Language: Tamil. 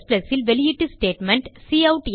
C ல் வெளியீட்டு ஸ்டேட்மெண்ட்